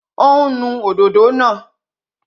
Ó ń nu òdòdó náà